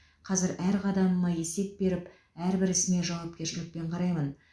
қазір әр қадамыма есеп беріп әрбір ісіме жауапкершілікпен қараймын